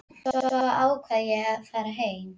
Svo ákvað ég að fara heim.